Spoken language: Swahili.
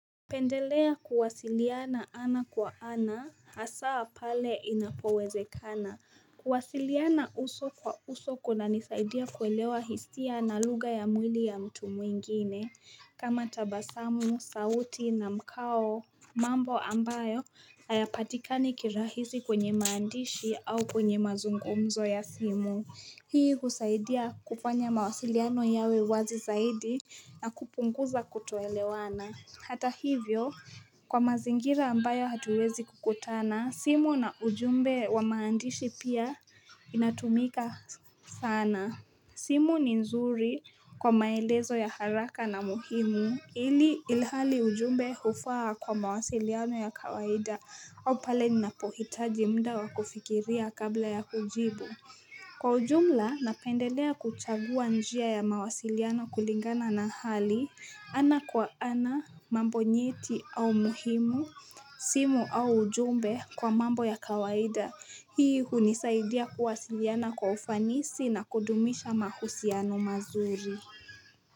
Napendelea kuwasiliana ana kwa ana asaa pale inapowezekana kuwasiliana uso kwa uso kuna nisaidia kuelewa hisia na lugha ya mwili ya mtu mwingine kama tabasamu, sauti na mkao mambo ambayo ayapatikani kirahisi kwenye maandishi au kwenye mazungumzo ya simu hii husaidia kufanya mawasiliano yawe wazi zaidi na kupunguza kutoelewana Hata hivyo kwa mazingira ambayo hatuwezi kukutana simu na ujumbe wa maandishi pia inatumika sana simu ni nzuri kwa maelezo ya haraka na muhimu ili ilhali ujumbe hufaa kwa mawasiliano ya kawaida au pale ninapohitaji muda wakufikiria kabla ya kujibu Kwa ujumla napendelea kuchagua njia ya mawasiliano kulingana na hali ana kwa ana mambo nyeti au muhimu simu au ujumbe kwa mambo ya kawaida. Hii hunisaidia kuwasiliana kwa ufanisi na kudumisha mahusiano mazuri.